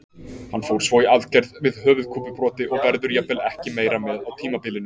Hann fór svo í aðgerð við höfuðkúpubroti og verður jafnvel ekki meira með á tímabilinu.